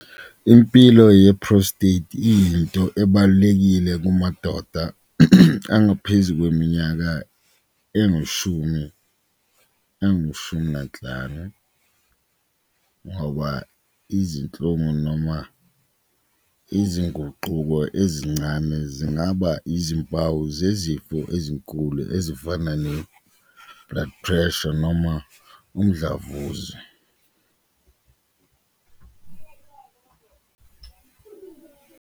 Impilo ye-prostate iyinto ebalulekile kumadoda angaphezu kweminyaka angushumi nanhlanu ngoba izinhlungu noma izinguquko ezincane zingaba izimpawu zezifo ezinkulu ezifana no-blood pressure noma umdlavuza.